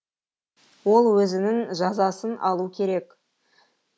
ол өзінің жазасын алу керек